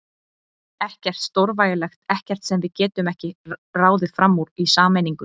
Ekkert stórvægilegt, ekkert sem við getum ekki ráðið fram úr í sameiningu.